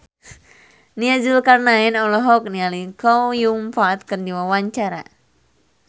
Nia Zulkarnaen olohok ningali Chow Yun Fat keur diwawancara